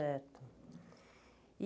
Certo.